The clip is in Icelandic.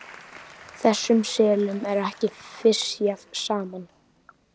Þessum selum er ekki fisjað saman.